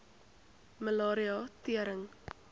malaria tering